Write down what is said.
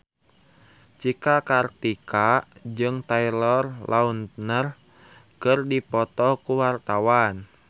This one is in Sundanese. Cika Kartika jeung Taylor Lautner keur dipoto ku wartawan